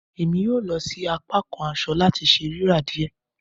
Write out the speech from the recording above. Emi yoo lọ si apakan aṣọ lati ṣe rira diẹ